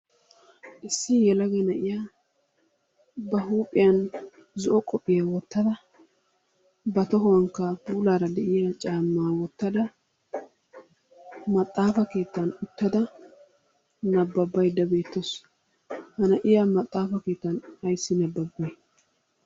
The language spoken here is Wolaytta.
Issi yelagga na'yaa ba huuphphiyaan zo'o qophiyiyaa wottada ba tohuwaanikka puullara diyaa caamma wottada maxaafa keettan uttada nabbaydda beettawusu. Ha na'iyaa maxaafa keettan ayssi nababay?